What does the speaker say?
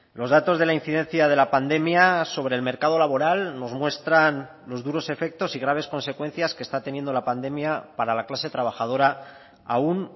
los datos de la incidencia de la pandemia sobre el mercado laboral nos muestran los duros efectos y graves consecuencias que está teniendo la pandemia para la clase trabajadora aún